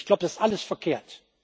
Ich glaube, das ist alles verkehrt.